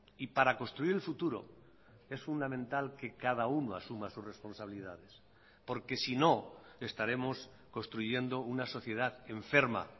y para construir el futuro es fundamental que cada uno asuma sus responsabilidades porque sino estaremos construyendo una sociedad enferma